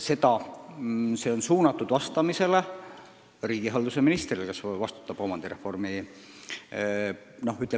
See ettepanek on suunatud riigihalduse ministrile, kes vastutab kogu omandireformi poliitika eest.